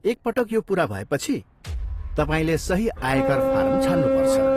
एकपटक यो पुरा भएपछि, तपाईँले सही आयकर फारम छान्नु पर्छ।